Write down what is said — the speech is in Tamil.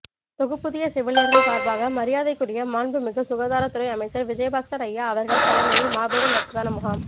தொகுப்பூதிய செவிலியர்கள் சார்பாக மரியாதைக்குரிய மாண்புமிகு சுகாதார துறை அமைச்சர் விஜயபாஸ்கர் ஐயா அவர்கள் தலைமையில் மாபெரும் ரத்ததான முகாம்